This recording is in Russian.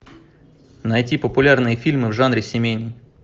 найти популярные фильмы в жанре семейный